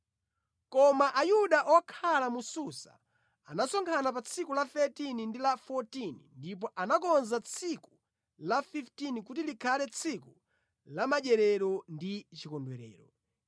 Koma Ayuda okhala mu Susa anasonkhana pa tsiku la 13 ndi la 14 ndipo anakonza tsiku la 15 kuti likhale tsiku la madyerero ndi chikondwerero.